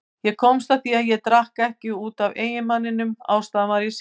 Ég komst að því að ég drakk ekki út af eiginmanninum, ástæðan var ég sjálf.